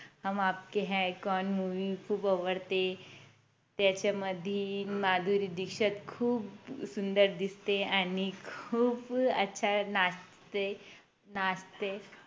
हम Aapke Hain Koun Movie खूप आवडते त्याच्यामध्ये माधुरी दीक्षित खूप सुंदर दिसते आणि खूप आच्छा नाचते नाचते